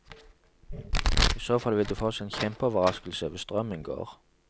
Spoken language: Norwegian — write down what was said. I så fall vil de få seg en kjempeoverraskelse hvis strømmen går.